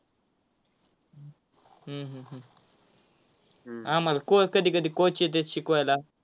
हम्म हम्म आम्हाला को~ कधीकधी coach येतात शिकवायला.